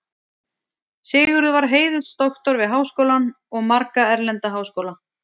Sigurður var heiðursdoktor við Háskólann og marga erlenda háskóla.